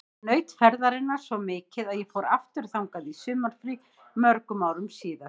Ég naut ferðarinnar svo mikið að ég fór aftur þangað í sumarfrí mörgum árum síðar.